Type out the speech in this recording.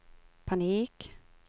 panik